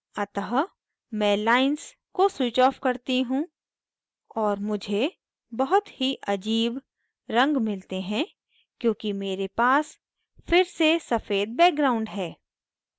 अतः मैं lines को switch off करती हूँ और मुझे बहुत ही अजीब रंग मिलते हैं क्योंकि मेरे पास फिर से सफ़ेद background है